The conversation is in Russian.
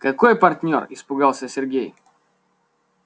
какой партнёр испугался сергей